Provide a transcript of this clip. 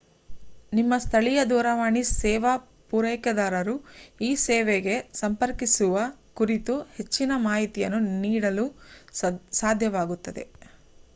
ನಿಮ್ಮ ಸ್ಥಳೀಯ ದೂರವಾಣಿ ಸೇವಾ ಪೂರೈಕೆದಾರರು ಈ ಸೇವೆಗೆ ಸಂಪರ್ಕಿಸುವ ಕುರಿತು ಹೆಚ್ಚಿನ ಮಾಹಿತಿಯನ್ನು ನೀಡಲು ಸಾಧ್ಯವಾಗುತ್ತದೆ